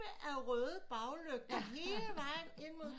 Af røde baglygter hele vejen ind mod